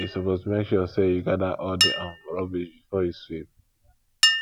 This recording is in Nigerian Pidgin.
you suppose make sure sey you gather all di um rubbish before you sweep